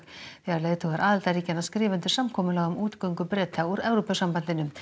þegar leiðtogar aðildarríkjanna skrifa undir samkomulag um útgöngu Breta úr Evrópusambandinu